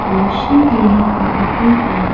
रोशनी देने को ऊपर पर।